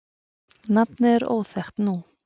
nafnið er óþekkt nú